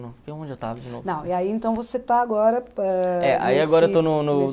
Não, e aí então você está agora... ãh... É, aí agora eu estou no no